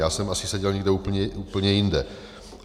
Já jsem asi seděl někde úplně jinde.